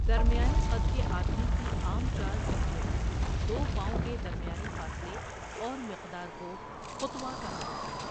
درمیانے قد کے آدمی کی عام چال چلتے وقت دو پاؤں کے درمیانی فاصلے اور مقدار کو خطوہ کہا جاتا ہے